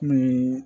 Ni